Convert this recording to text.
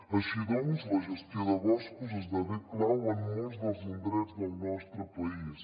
així doncs la gestió de boscos esdevé clau en molts dels indrets del nostre país